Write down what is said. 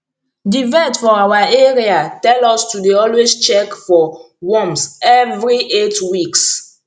the vet for our area tell us to dey always check for worms every eight weeks